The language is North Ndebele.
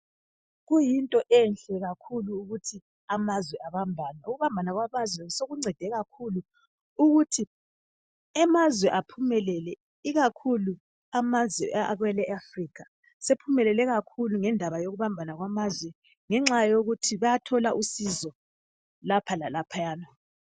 Kuyinto enhle kakhulu ukuthi amazwe abambane ukubambana kwamazwe sokuncede kakhulu ukuthi amazwe aphumelele ikakhulu amazwe e Afrikha sephumelele kakhulu ngendaba yokubambana kwamazwe ngenxayokuthi bayathola usizo lapha lalaphayana.